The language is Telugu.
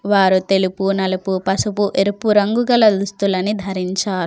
వారు తెలుపు నలుపు పసుపు ఎరుపు రంగు గల దుస్తులని ధరించారు.